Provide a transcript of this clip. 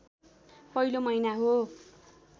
पहिलो महिना हो